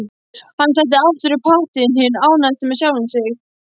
Hann setti aftur upp hattinn, hinn ánægðasti með sjálfan sig.